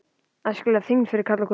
ÆSKILEG ÞYNGD FYRIR KARLA OG KONUR